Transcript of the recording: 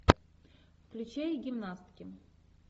включай гимнастки